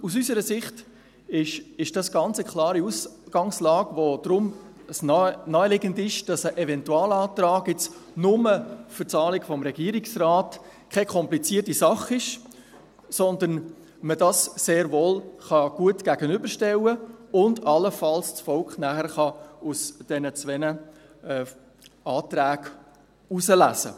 Aus unserer Sicht ist dies eine ganz klare Ausgangslage, und daher ist es naheliegend, dass ein Eventualantrag nur für das Anliegen des Regierungsrates keine komplizierte Sache ist, sondern dass man dies sehr wohl und gut gegenüberstellen kann, sodass das Volk nachher allenfalls einen dieser beiden Anträge auswählen kann.